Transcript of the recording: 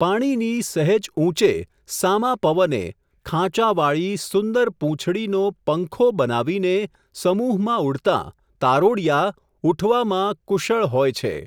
પાણીની, સહેજ ઊંચે, સામા પવને, ખાંચાવાળી, સુંદર પૂંછડીનો, પંખો, બનાવીને, સમૂહમાં ઊડતાં, તારોડિયા, ઉઠવામાં, કુશળ, હોય છે.